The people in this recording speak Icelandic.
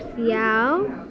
já